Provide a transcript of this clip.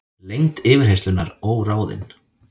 Lengd yfirheyrslunnar óráðin